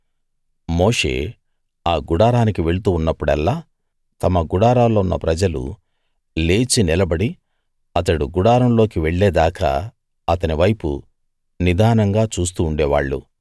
మోషే ఆ గుడారానికి వెళ్తూ ఉన్నప్పుడల్లా తమ గుడారాల్లో ఉన్న ప్రజలు లేచి నిలబడి అతడు గుడారం లోకి వెళ్ళేదాకా అతని వైపు నిదానంగా చూస్తూ ఉండేవాళ్ళు